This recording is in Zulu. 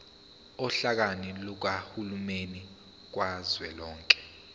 ohlakeni lukahulumeni kazwelonke